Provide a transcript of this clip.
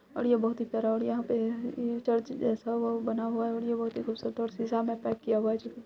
और ये बहुत ही प्यारा और यहाँ पे ये चर्च जैसा बना हुआ है और ये वो खूबसूरत शीशा मे पेक किया हुआ है।